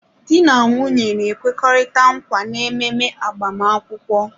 Di na nwunye na-ekwekọrịta nkwa n'ememe agbamakwụkwọ